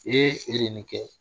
Ee ! e de ye nin kɛ ?